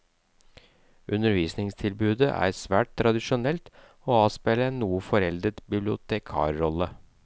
Undervisningstilbudet er svært tradisjonelt og avspeiler en noe foreldet bibliotekarrolle.